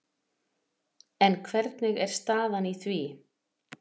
En hvernig er staðan í því?